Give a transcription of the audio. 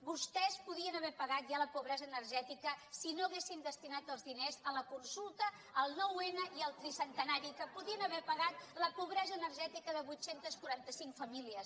vostès podien haver pagat ja la pobresa energètica si no haguessin destinat els diners a la consulta al nou n i al tricentenari que podrien haver pagat la pobresa energètica de vuit cents i quaranta cinc famílies